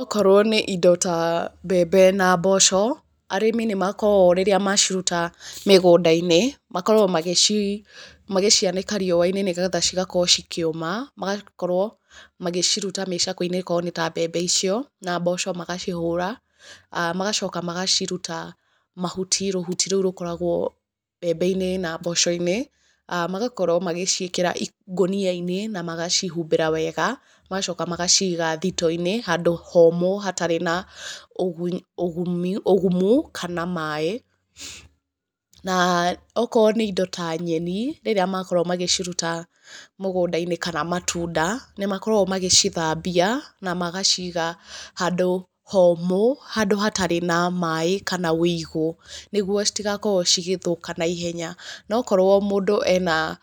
Okorwo nĩ indo ta mbembe na mboco, arĩmi nĩ makoragwo rĩrĩa maciruta mĩgũnda-inĩ, makoragwo magĩcianĩka riũa-inĩ nĩgetha cigakorwo cikĩũma. Magakorwo magĩciruta mĩcakwe-inĩ ĩkorwo nĩ ta mbembe icio, na mboco magacihũra. Magacoka magaciruta mahuti rũhuti rũu rũkoragwo mbembe-inĩ na mboco-inĩ. Magakorwo magĩciĩkĩra ngũnia-inĩ, na magacihumbĩra wega. Magacoka magaciga thitoo-inĩ handũ homũ hatarĩ na ũgumu kana maĩ. Na okorwo nĩ indo ta nyeni rĩrĩa makorwo magĩcuruta mũgũnda-inĩ kana matunda, nĩ makoragwo magĩcithambia na magaciga handũ homũ, handũ hatarĩ na maĩ kana wĩigũ, nĩguo citigakorwo cigĩthũka naihenya. No okorwo mũndũ ena